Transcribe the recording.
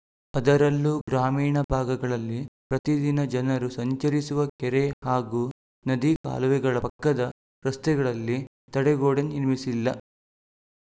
ಅದರಲ್ಲೂ ಗ್ರಾಮೀಣ ಭಾಗಗಳಲ್ಲಿ ಪ್ರತಿದಿನ ಜನರು ಸಂಚರಿಸುವ ಕೆರೆ ಹಾಗೂ ನದಿ ಕಾಲುವೆಗಳ ಪಕ್ಕದ ರಸ್ತೆಗಳಲ್ಲಿ ತಡೆಗೋಡೆ ನಿರ್ಮಿಸಿಲ್ಲ